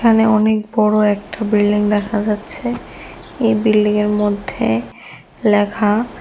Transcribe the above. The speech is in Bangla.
এখানে অনেক বড়ো একটা বিল্ডিং দেখা যাচ্ছে এই বিল্ডিংয়ের মধ্যে লেখা--